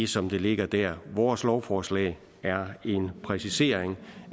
som den ligger der vores lovforslag er en præcisering